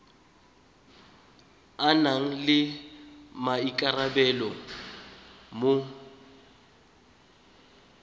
a nang le maikarabelo mo